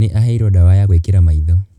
Nĩ aheirwo ndawa ya gwĩkira maitho.